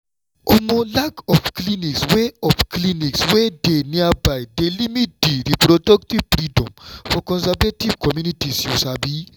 omo lack of clinics wey of clinics wey dey nearby dey limit di reproductive freedom for conservative communities you sabi.